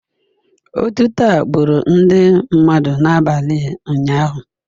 Otuto a gburu ndị mmadụ n'abalị ụnyahụ